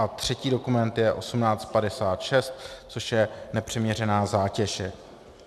A třetí dokument je 1856, což je nepřiměřená zátěž.